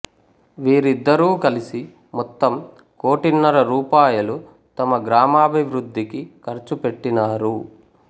వీరిద్దరూ కలిసి మొత్తం కోటిన్నర రూపాయలు తమ గ్రామాభివృద్ధికి ఖర్చు పెట్టినారు